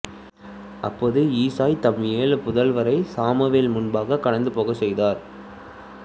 அப்பொழுது ஈசாய் தம் ஏழு புதல்வரைச் சாமுவேல் முன்பாகக் கடந்து போகச் செய்தார்